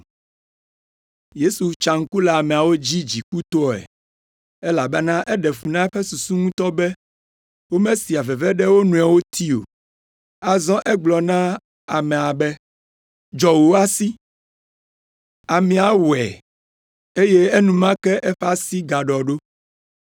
Yesu tsa ŋku le ameawo dzi dzikutɔe, elabena eɖe fu na eƒe susu ŋutɔ be, womesea veve ɖe wo nɔewo ti o. Azɔ egblɔ na amea be, “Dzɔ wò asi.” Amea wɔe, eye enumake eƒe asi gaɖɔ ɖo.